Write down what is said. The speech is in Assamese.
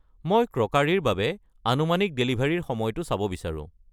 মই ক্ৰকাৰী ৰ বাবে আনুমানিক ডেলিভাৰীৰ সময়টো চাব বিচাৰোঁ।